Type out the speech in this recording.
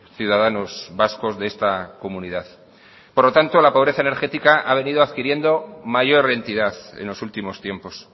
ciudadanos vascos de esta comunidad por lo tanto la pobreza energética ha venido adquiriendo mayor entidad en los últimos tiempos